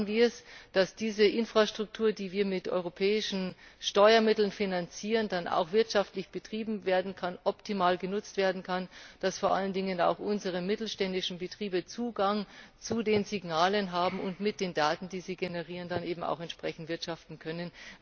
Wie schaffen wir es, dass diese Infrastruktur, die wir mit europäischen Steuermitteln finanzieren, dann auch wirtschaftlich betrieben und optimal genutzt werden kann, und dass vor allen Dingen auch unsere mittelständischen Betriebe Zugang zu den Signalen haben und mit den Daten, die sie generieren, dann auch entsprechend wirtschaften können?